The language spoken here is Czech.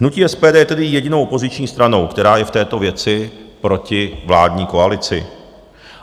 Hnutí SPD je tedy jedinou opoziční stranou, která je v této věci proti vládní koalici.